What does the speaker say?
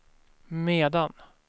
medan